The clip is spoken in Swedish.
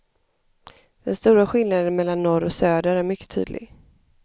Den stora skillnaden mellan norr och söder är mycket tydlig.